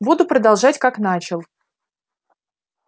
буду продолжать как начал